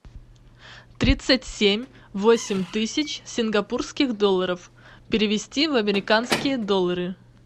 тридцать семь восемь тысяч сингапурских долларов перевести в американские доллары